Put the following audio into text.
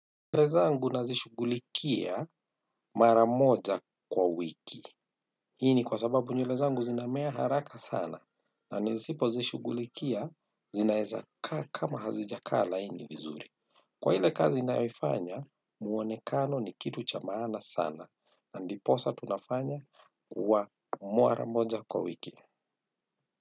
Nywele zangu nazishughulikia mara moja kwa wiki. Hii ni kwa sababu nywele zangu zinamea haraka sana na nisipozishughulikia zinaeza kaa kama hazijakaa laini vizuri. Kwa ile kazi ninayoifanya muonekano ni kitu cha maana sana na ndiposa tunafanya wa mara moja kwa wiki.